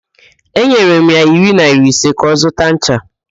Enyere m ya iri naịra ise ka ọ zụta ncha.